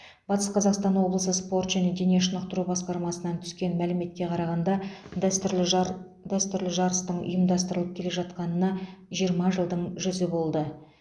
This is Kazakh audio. батыс қазақстан облысы спорт және дене шынықтыру басқармасынан түскен мәліметке қарағанда дәстүрлі жар дәстүрлі жарыстың ұйымдастырылып келе жатқанына жиырма жылдың жүзі болды